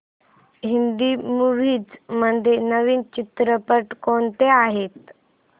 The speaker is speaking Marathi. हिंदी मूवीझ मध्ये नवीन चित्रपट कोणते आहेत